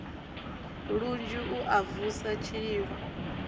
lunzhi u a vusa tshililo